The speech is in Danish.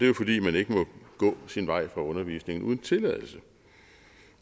jo fordi man ikke må gå sin vej fra undervisningen uden tilladelse